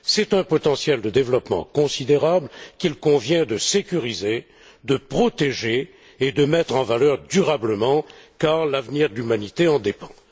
C'est un potentiel de développement considérable qu'il convient de sécuriser, de protéger et de mettre en valeur durablement car l'avenir de l'humanité en dépend.